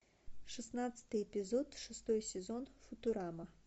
шестнадцатый эпизод шестой сезон футурама